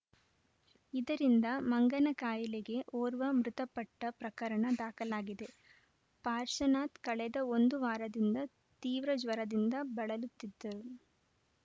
ಇದರಿಂದ ಮಂಗನಕಾಯಿಲೆಗೆ ಓರ್ವ ಮೃತಪಟ್ಟಪ್ರಕರಣ ದಾಖಲಾಗಿದೆ ಪಾರ್ಶನಾಥ್‌ ಕಳೆದ ಒಂದು ವಾರದಿಂದ ತೀವ್ರ ಜ್ವರದಿಂದ ಬಳಲುತ್ತಿದ್ದರು